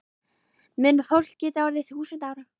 Mun fólk geta orðið þúsund ára?